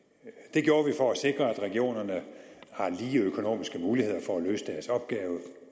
det gjorde vi for at sikre at regionerne har lige økonomiske muligheder for at løse deres opgave